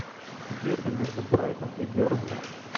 дерби между брайтон и бернли